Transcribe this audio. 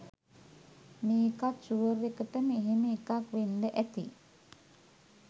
මේකත් ෂුවර් එකටම එහෙම එකක් වෙන්ඩ ඇති